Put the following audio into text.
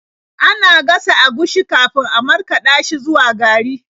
Ana gasa agushi kafin a markaɗa shi zuwa gari.